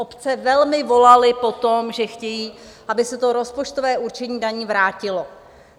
Obce velmi volaly po tom, že chtějí, aby se to rozpočtové určení daní vrátilo.